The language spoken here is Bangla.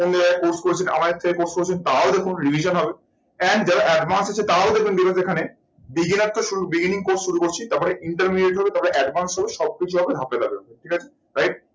অন্য জায়গায় course করেছেন আমাদের থেকে course করেছেন তারাও দেখুন revision হবে। and যারা advance আছেন তারাও দেখবেন beginner তো শুরু beginning course শুরু করছি তারপর intermediate হবে তারপর advance হবে সবকিছু হবে ঠিক আছে right